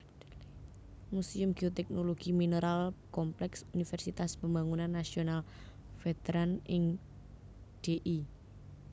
Muséum Geoteknologi Mineral kompleks Universitas Pembangunan Nasional Veteran ing Dl